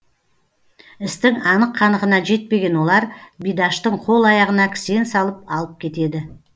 істің анық қанығына жетпеген олар бидаштың қол аяғына кісен салып алып кетеді